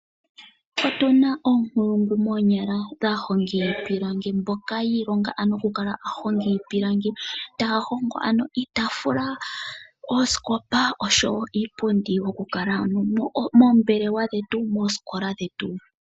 Otuna oonkulungu moonyala, aahongi yiipilangi, mboka ya ilonga oku kala aahongi yiipilangi taya hongo iitaafula, oosikopa osho wo iipundi, yoku kala moombelewa dhetu nenge moosikola dhetu.